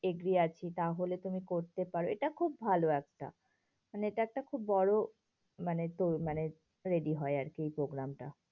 Agree আছি তাহলে তুমি করতে পারো, এটা খুব ভালো একটা, মানে এটা একটা খুব বড়ো মানে, তোর মানে ready হয় আরকি এই programme টা।